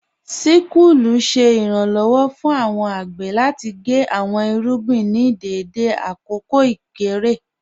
Síkùlù ṣẹ̀ iranlọ́wọ̀ fún awọn agbè láti gé awọn irúgbìn ní dẹdẹ lákọ̀ọ̀ ikọ̀ré.